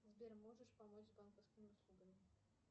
сбер можешь помочь с банковскими услугами